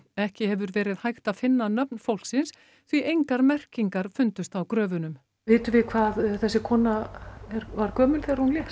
ekki hefur verið hægt að finna nöfn fólksins því engar merkingar fundust á gröfunum vitum við hvað þessi kona var gömul þegar hún lést